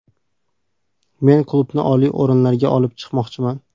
Men klubni oliy o‘rinlarga olib chiqmoqchiman.